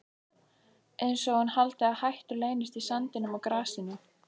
Einsog hún haldi að hættur leynist í sandinum og grasinu.